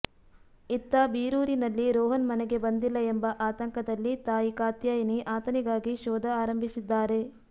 ಇತ್ತ ಬೀರೂರಿನಲ್ಲಿ ರೋಹನ್ ಮನೆಗೆ ಬಂದಿಲ್ಲ ಎಂಬ ಆತಂಕದಲ್ಲಿ ತಾಯಿ ಕಾತ್ಯಾಯಿನಿ ಆತನಿಗಾಗಿ ಶೋಧ ಆರಂಭಿಸಿದ್ದಾರೆ